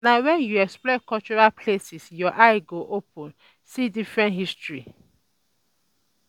Na wen you explore cultural places your eye go open see deep history.